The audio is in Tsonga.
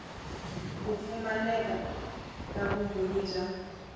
ku pfumaleka ka vumbhoni bya